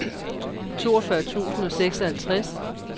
toogfyrre tusind og seksoghalvtreds